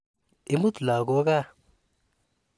Imut lagok kaa.